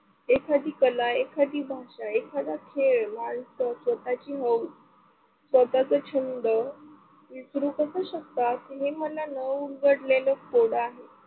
एखादी कला, एखादी भाषा, एखादा खेळ व एखादी स्वतःची हाऊस, स्वतःचा छंद विसरू कसा शकता? तुम्ही मला न उघडलेले कोड आहे.